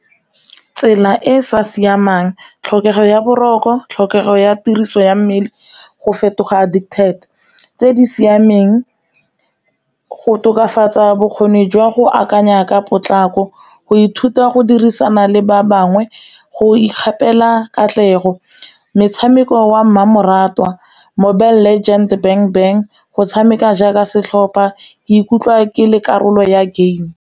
Tsela e e sa siamang tlhokego ya boroko, tlhokego ya tiriso ya mmele, go fetoga addicted. Tse di siameng go tokafatsa bokgoni jwa go akanya ka potlako, go ithuta go dirisana le ba bangwe, go ikgapela katlego, metshameko wa mmamoratwa, Mobile legend, Bang bang go tshameka jaaka setlhopha, ke ikutlwa ke le karolo ya game.